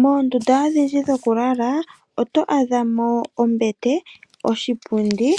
Mondunda odhindji dhokulala oto adhamo ombete, oshipubdi